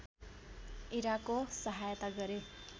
इराकको सहायता गरे